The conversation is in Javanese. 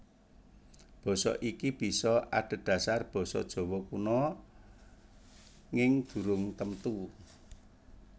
Basa iki bisa adhedhasar basa Jawa Kuna nging durung temtu